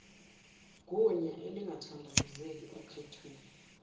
gunya elingathandabuzeki okhethweni